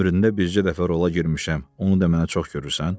Ömründə bircə dəfə rola girmişəm, onu da mənə çox görürsən?